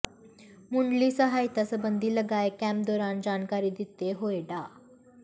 ਮੁਢਲੀ ਸਹਾਇਤਾ ਸਬੰਧੀ ਲਗਾਏ ਕੈਂਪ ਦੌਰਾਨ ਜਾਣਕਾਰੀ ਦਿੰਦੇ ਹੋਏ ਡਾ